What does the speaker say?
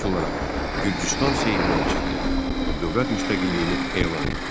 İlk olaraq Gürcüstan Seymdən çıxdı və dövlət müstəqilliyini elan etdi.